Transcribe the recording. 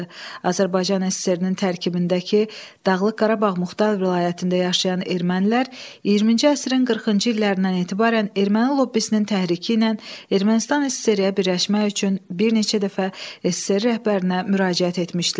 Azərbaycan SSR-nin tərkibindəki Dağlıq Qarabağ Muxtar Vilayətində yaşayan ermənilər 20-ci əsrin 40-cı illərindən etibarən erməni lobbisinin təhriki ilə Ermənistan SSR-ə birləşmək üçün bir neçə dəfə SSR rəhbərinə müraciət etmişdilər.